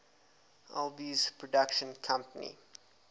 alby's production company